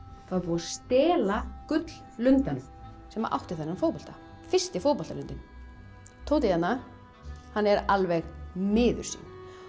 þá er búið að stela gulllundanum sem átti þennan fótbolta fyrsti fótboltalundinn Tóti hérna er alveg miður sín